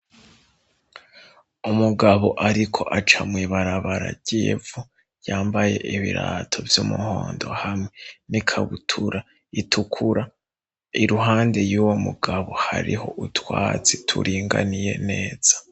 Umugabo ariko aca mw'ibarabara ry'ivu, yambaye ibirato vy'umuhondo hamwe n'ikabutura itukura. Iruhande y'uwo mugabo hariho utwatsi turinganiye neza.